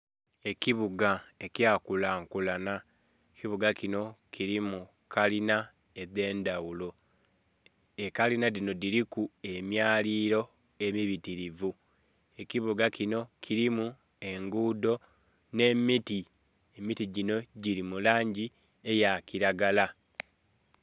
Ekibuga ekya kula nkulanha, ekibuga kinho kilimu ekalinha edhe ndhaghulo, ekalinha dhinho dhiliku emyalililo emibitilivu. Ekibuga kinho kilimu engudho nhe miti, emiti ginho gili mulangi eya kilagala.